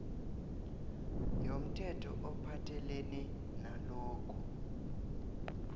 yomthetho ophathelene nalokhu